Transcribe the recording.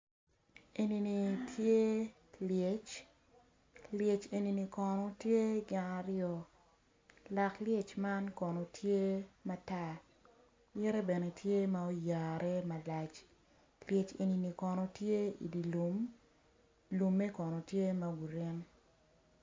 Enini tye lyec lyec enini kono tye gin aryo lak lyec man kono tye matar yite bene tye ma oyare malac lyec enini kono tye idi lum lumme kono tye ma grin.